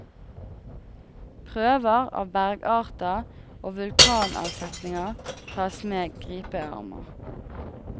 Prøver av bergarter og vulkanavsetninger tas med gripearmer.